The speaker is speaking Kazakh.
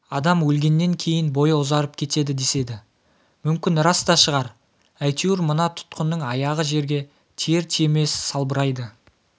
адам өлгеннен кейін бойы ұзарып кетеді деседі мүмкін рас та шығар әйтеуір мына тұтқынның аяғы жерге тиер-тимес салбырайды